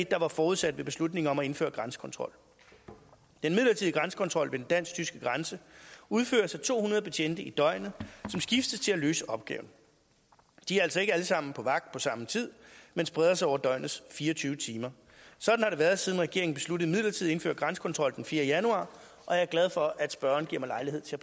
der var forudsat ved beslutningen om at indføre grænsekontrol den midlertidige grænsekontrol ved den dansk tyske grænse udføres af to hundrede betjente i døgnet som skiftes til at løse opgaven de er altså ikke alle sammen på vagt på samme tid men spreder sig over døgnets fire og tyve timer sådan har det været siden regeringen besluttede midlertidigt at indføre grænsekontrol den fjerde januar og jeg er glad for at spørgeren giver mig lejlighed til